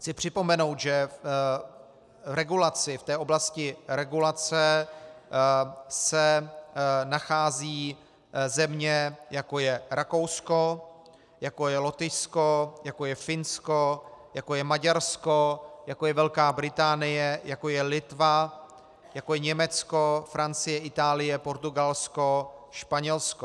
Chci připomenout, že v té oblasti regulace se nacházejí země, jako je Rakousko, jako je Lotyšsko, jako je Finsko, jako je Maďarsko, jako je Velká Británie, jako je Litva, jako je Německo, Francie, Itálie, Portugalsko, Španělsko.